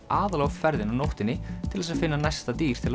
aðallega á ferðinni á nóttinni til þess að finna næsta dýr til